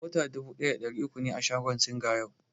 Bota dubu ɗaya da ɗari uku ne a shagon Singa yau.